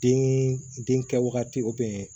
Den den kɛ wagati